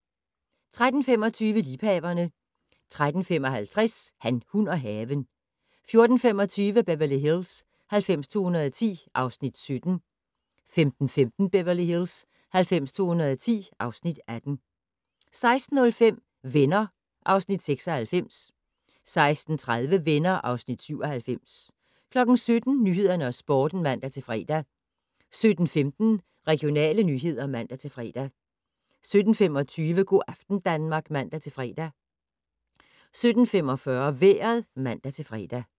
13:25: Liebhaverne 13:55: Han, hun og haven 14:25: Beverly Hills 90210 (Afs. 17) 15:15: Beverly Hills 90210 (Afs. 18) 16:05: Venner (Afs. 96) 16:30: Venner (Afs. 97) 17:00: Nyhederne og Sporten (man-fre) 17:15: Regionale nyheder (man-fre) 17:25: Go' aften Danmark (man-fre) 17:45: Vejret (man-fre)